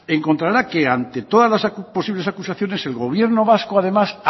encontrará que ante todas las posibles acusaciones el gobierno vasco además